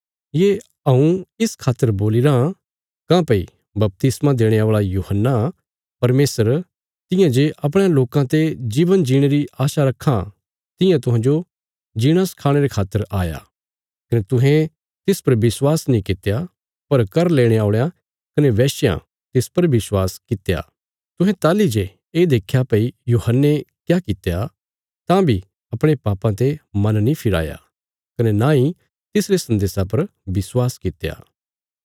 ये हऊँ इस खातर बोलीराँ काँह्भई बपतिस्मा देणे औल़ा यूहन्ना परमेशर तियां जे अपणयां लोकां ते जीवन जीणे री आशा रक्खां तियां तुहांजो जीणा सखाणे रे खातर आया कने तुहें तिस पर विश्वास नीं कित्या पर कर लेणे औल़यां कने बेश्यां तिस पर विश्वास कित्या तुहें ताहली जे ये देख्या भई यूहन्ने क्या कित्या तां बी अपणे पापां ते मन नीं फिराया कने नांई तिसरे सन्देशा पर विश्वास कित्या